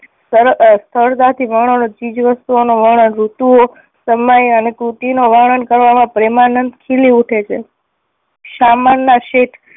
સરળ સરળતાથી વર્ણન, ચીજ વસ્તુઓ નું વર્ણન, ઋતુઓ, સમય અને કૃતિનું વર્ણન કરવામાં પ્રેમાનંદ ખીલી ઉઠે છે. શામળ ના શેઠ